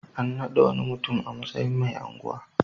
An naɗa wani mutum a matsayin mai unguwa.